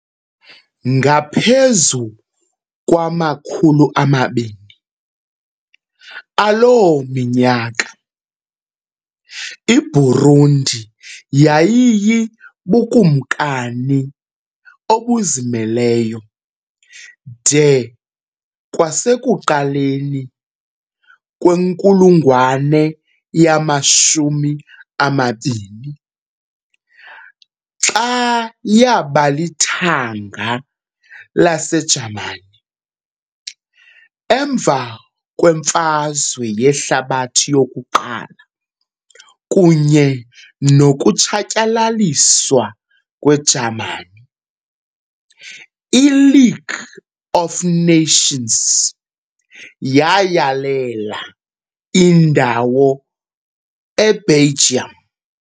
Ngaphezu kwama-200 aloo minyaka, iBurundi yayibubukumkani obuzimeleyo, de kwasekuqaleni kwenkulungwane yama-20, xa yaba lithanga laseJamani. Emva kweMfazwe Yehlabathi yokuqala kunye nokutshatyalaliswa kweJamani, i- League of Nations "yayalela" indawo eBelgium.